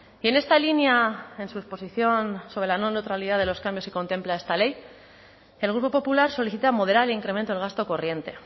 y en esta línea en su exposición sobre la no neutralidad de los cambios que contempla esta ley el grupo popular solicita moderar el incremento del gasto corriente